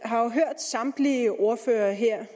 har hørt samtlige ordførere her